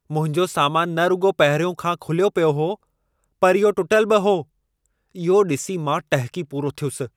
मुंहिंजो सामानु न रुॻो पहिरियों खां खुलियो पियो हो, पर इहो टुटलु बि हो। इहो ॾिसी मां टहिकी पूरो थियुसि।